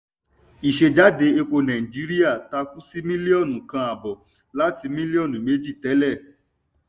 ìsejáde epo nàìjíríà takú sí mílíọ̀nù kan àbọ̀ láti mílíọ̀nù méjì tẹ́lẹ̀.